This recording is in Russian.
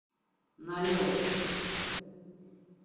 налет